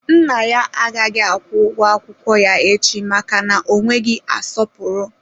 Nna ya agaghị akwụ ụgwọ akwụkwọ ya echi maka na ọ nweghị asọpụrụ.